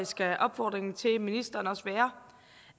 skal opfordringen til ministeren også være